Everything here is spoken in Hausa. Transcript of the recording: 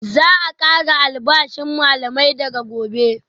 Za a kara albashin malamai daga Gobe